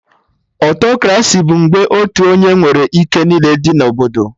Autokraci bụ mgbe otu onye nwere ike niile dị na Obodo